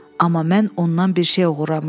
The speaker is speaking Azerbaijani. Amma mən ondan bir şey oğurlamışdım.